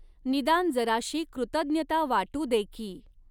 निदान जराशी कृतज्ञता वाटू दे कीं!